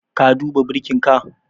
Ka duba birkinka?